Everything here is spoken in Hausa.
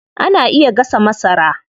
Ana iya gasa masara.